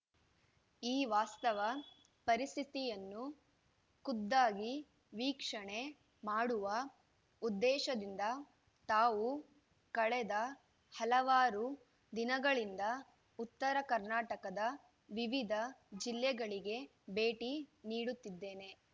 ಈ ವಾಸ್ತವ ಪರಿಸ್ಥಿತಿಯನ್ನು ಖುದ್ದಾಗಿ ವೀಕ್ಷಣೆ ಮಾಡುವ ಉದ್ದೇಶದಿಂದ ತಾವು ಕಳೆದ ಹಲವಾರು ದಿನಗಳಿಂದ ಉತ್ತರ ಕರ್ನಾಟಕದ ವಿವಿಧ ಜಿಲ್ಲೆಗಳಿಗೆ ಭೇಟಿ ನೀಡುತ್ತಿದ್ದೇನೆ